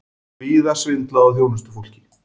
Víða svindlað á þjónustufólki